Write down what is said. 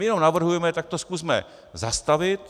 My jenom navrhujeme - tak to zkusme zastavit.